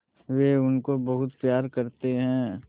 वे उनको बहुत प्यार करते हैं